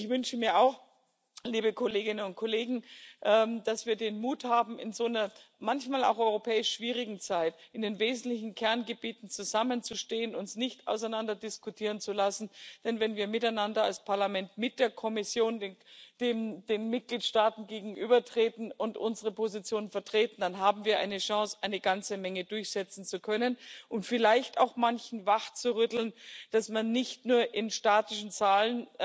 Ich wünsche mir auch, liebe Kolleginnen und Kollegen, dass wir den Mut haben, in so einer manchmal auch europäisch schwierigen Zeit in den wesentlichen Kerngebieten zusammenzustehen, uns nicht auseinanderdiskutieren zu lassen, denn wenn wir miteinander als Parlament mit der Kommission den Mitgliedstaaten gegenübertreten und unsere Position vertreten, dann haben wir eine Chance, eine ganze Menge durchsetzen zu können und vielleicht auch manchen wachzurütteln, dass man nicht nur in statischen Zahlen